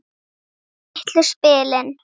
Litlu spilin.